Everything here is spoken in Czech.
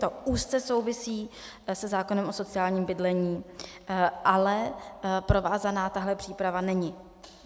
To úzce souvisí se zákonem o sociálním bydlení, ale provázaná tato příprava není.